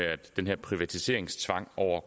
at den her privatiseringstvang over